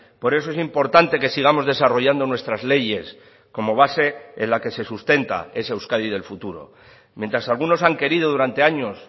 por eso es importante que sigamos desarrollando nuestras leyes como base en la que se sustenta esa euskadi del futuro mientras algunos han querido durante años